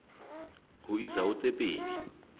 ho isa ho tse pedi